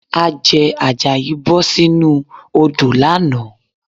Àjẹ̀ Àjàyí bọ̀ sínú odò lánàá